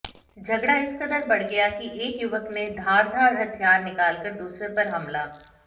झगड़ा इस कदर बढ़ गया कि एक युवक ने धारदार हथियार निकालकर दूसरे पर हमला